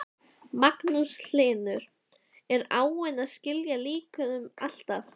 Magnús Hlynur: Er áin að skila líkum alltaf?